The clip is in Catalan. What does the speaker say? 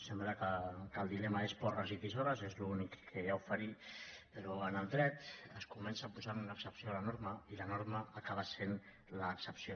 sembla que el dilema és porres i tisores és l’únic que hi ha a oferir però en el dret es comença posant una excepció a la norma i la norma acaba sent l’excepció